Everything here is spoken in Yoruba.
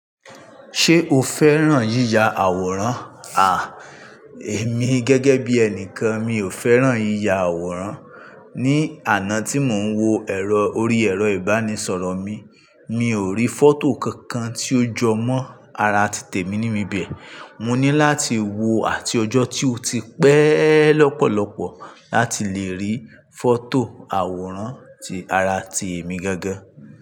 Ṣé o fẹ́ràn yíya àwòrán? À, èmi gẹ́gẹ́ bí ẹnìkan mi ò fẹ́ràn yíya àwòrán. Ni àná tí mò ń wo ẹ̀rọ orí ẹ̀rọ ìbánisọ̀rọ̀ mi, mi ò rí fọ́tò kankan tí ó jọ mọ́ ara tìtè mi níbi bẹ́ẹ̀. Mo ní láti wo àti ọjọ́ tí ó ti pẹ́ lọ́pọ̀lọpọ̀ láti lè rí fọ́tò àwòrán ti ara ti èmi gángán.